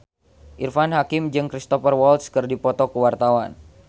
Irfan Hakim jeung Cristhoper Waltz keur dipoto ku wartawan